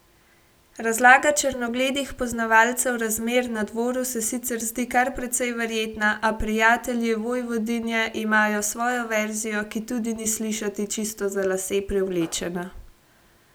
Razlaga črnogledih poznavalcev razmer na dvoru se sicer zdi kar precej verjetna, a prijatelji vojvodinje imajo svojo verzijo, ki tudi ni slišati čisto za lase privlečena.